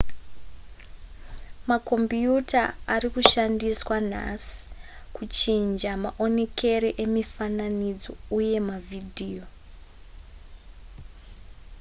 makombiyuta ari kushandiswa nhasi kuchinja maonekere emifananidzo uye mavhidiyo